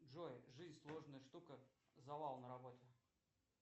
джой жизнь сложная штука завал на работе